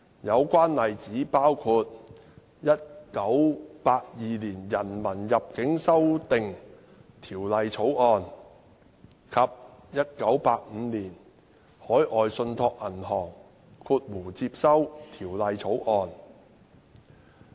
有關例子包括《1982年人民入境條例草案》及《1985年海外信託銀行條例草案》。